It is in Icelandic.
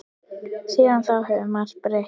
Síðan þá hefur margt breyst.